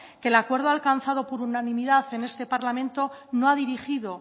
que el acuerdo alcanzado por unanimidad en este parlamento no ha dirigido